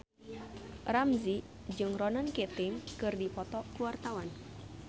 Ramzy jeung Ronan Keating keur dipoto ku wartawan